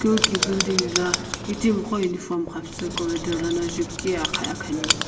school ki building la itimiqo uniform xapusu corridor ana jupiqi akhani.